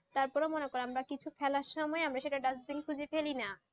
তারপর মনে করো আমরা কিছু ফেলার সময় আমরা সেটা dustbin খুঁজে ফেলানি,